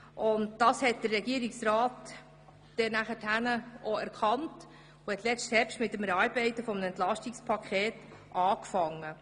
Dies hat der Regierungsrat erkannt und deshalb im letzten Herbst mit der Erarbeitung eines Entlastungspakets begonnen.